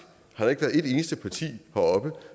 har der ikke været et eneste parti heroppe